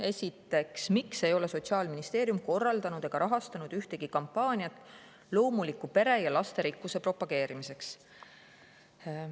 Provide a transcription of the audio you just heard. Esimene küsimus: "Miks ei ole Sotsiaalministeerium korraldanud ega rahastanud ühtegi kampaaniat loomuliku pere ja lasterikkuse propageerimiseks?